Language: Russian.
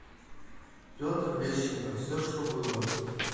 петр лещенко все что было